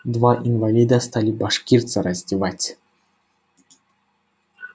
два инвалида стали башкирца раздевать